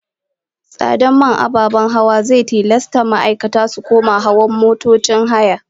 Tsadar man ababen hawa zai tilasta ma'aikata su koma hawan motocin haya